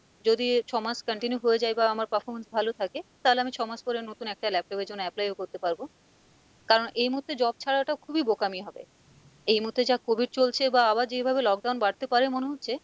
যদি ছ মাস continue হয়ে যায় বা আমার performance ভালো থাকে, তালে আমি ছ মাস পরে নতুন একটা laptop এর জন্য apply ও করতে পারবো, কারণ এই মুহুর্তে job ছাড়াটা খুবই বোকামি হবে, এই মুহুর্তে যা COVID চলছে বা আবার যেভাবে lockdown বাড়তে পারে মনে হচ্ছে,